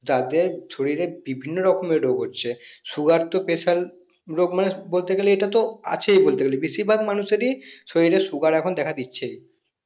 তাদের শরীর এ বিভিন্ন রকমের রোগ হচ্ছে sugar তো special রোগ মানে বলতে গেলে এটাতো আছেই বলতে গেলে বেশির ভাগ মানুষ এর ই শরীরে sugar এখন দেখা দিচ্ছে